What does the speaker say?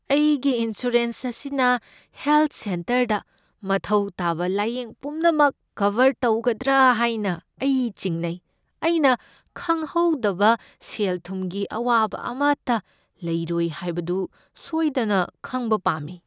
ꯑꯩꯒꯤ ꯏꯟꯁꯨꯔꯦꯟꯁ ꯑꯁꯤꯅ ꯍꯦꯜꯊ ꯁꯦꯟꯇꯔꯗ ꯃꯊꯧ ꯇꯥꯕ ꯂꯥꯢꯌꯦꯡ ꯄꯨꯝꯅꯃꯛ ꯀꯚꯔ ꯇꯧꯒꯗ꯭ꯔꯥ ꯍꯥꯏꯅ ꯑꯩ ꯆꯤꯡꯅꯩ꯫ ꯑꯩꯅ ꯈꯪꯍꯧꯗꯕ ꯁꯦꯜ ꯊꯨꯝꯒꯤ ꯑꯋꯥꯕ ꯑꯃꯇ ꯂꯩꯔꯣꯏ ꯍꯥꯏꯕꯗꯨ ꯁꯣꯏꯗꯅ ꯈꯪꯕ ꯄꯥꯝꯃꯤ꯫